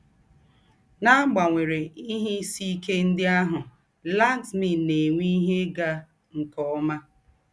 N’àgbanwérè ìhè ìsì íké ńdị àhụ̀, Laxmi na - ènwé ìhè ị́gá nke ọ́má.